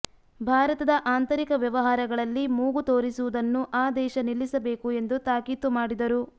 ಭಾರತದ ಆಂತರಿಕ ವ್ಯವಹಾರಗಳಲ್ಲಿ ಮೂಗು ತೂರಿಸುವುದನ್ನು ಆ ದೇಶ ನಿಲ್ಲಿಸಬೇಕು ಎಂದು ತಾಕೀತು ಮಾಡಿದರು